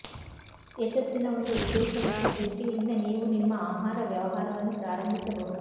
ಯಶಸ್ಸಿನ ಒಂದು ಉದ್ದೇಶ ಮತ್ತು ದೃಷ್ಟಿಯೊಂದಿಗೆ ನೀವು ನಿಮ್ಮ ಆಹಾರ ವ್ಯವಹಾರವನ್ನು ಪ್ರಾರಂಭಿಸಬಹುದು